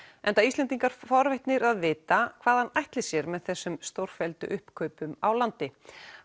enda Íslendingar forvitnir að vita hvað hann ætli sér með þessum stórfelldu uppkaupum á landi